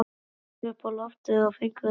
Þeir gengu upp á loftið og fengu sér sæti.